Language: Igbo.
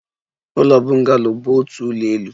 Ụlọ bungalow bụ otu ụlọ elu